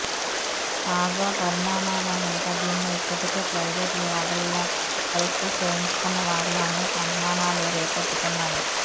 తాజా పరిణామాల నేపథ్యంలో ఇప్పటికే ప్రైవేటు ల్యాబ్లలో పరీక్షలు చేయించుకున్న వారిలో అనేక అనుమానాలు రేకెత్తుతున్నాయి